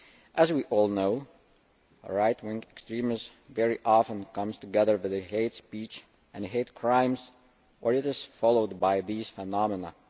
As we all know, right wing extremism very often comes together with hate speech and hate crimes, or is followed by these phenomena.